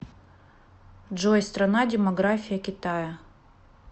джой страна демография китая